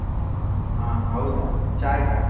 ಹಾ ಹೌದಾ, ಚಾ ಆಯ್ತಾ?